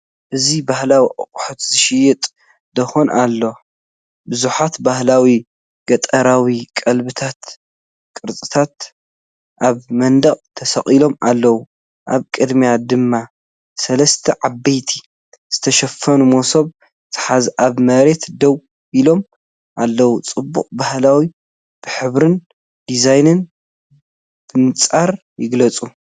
እዚ ባህላዊ ኣቑሑት ዝሸይጥ ድኳን ኣሎ። ብዙሓት ባህላዊ ገጠራዊ ቀለቤታትን ቅርጽታት ኣብ መንደቕ ተሰቒሎም ኣለዉ። ኣብ ቅድሚኡ ድማ ሰለስተ ዓበይቲ ዝተሸፈኑመሶብ ዝሓዙ ኣብ መሬት ደው ኢሎም ኣለዉ። ጽባቐ ባህሊ ብሕብርን ዲዛይንን ብንጹር ይግለጽ።